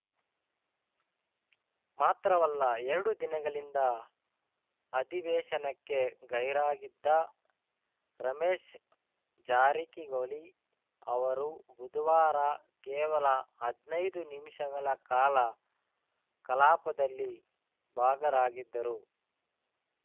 ಮಾತ್ರವಲ್ಲ ಎರಡು ದಿನಗಳಿಂದ ಅಧಿವೇಶನಕ್ಕೆ ಗೈರಾಗಿದ್ದ ರಮೇಶ್‌ ಜಾರಕಿಹೊಳಿ ಅವರು ಬುಧವಾರ ಕೇವಲ ಹದ್ನೈದು ನಿಮಿಷಗಳ ಕಾಲ ಕಲಾಪದಲ್ಲಿ ಭಾಗರಾಗಿದ್ದರು